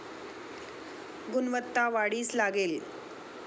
गुणवत्ता वाढीस लागेल